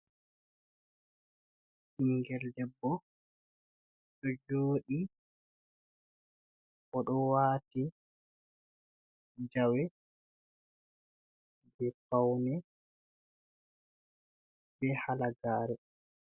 Ɓinngel debbo, ɗo jooɗii, O ɗo waati jawe jey fawne, be halagaare.